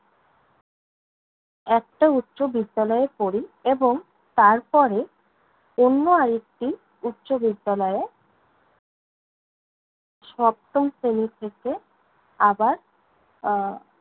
একটা উচ্চ বিদ্যালয়ে পড়ি এবং, তার পরে অন্য আরেকটি উচ্চ বিদ্যালয়ে সপ্তম শ্রেণী থেকে আবার আহ